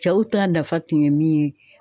Cɛw ta nafa tun ye min ye.